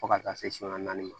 Fo ka taa se naani ma